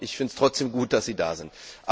Ich finde es trotzdem gut, dass Sie da sind.